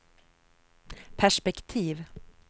perspektiv